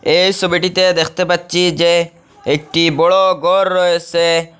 এই সবিটিতে দেখতে পাচ্ছি যে একটি বড় গর রয়েসে।